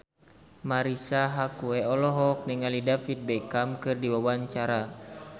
Marisa Haque olohok ningali David Beckham keur diwawancara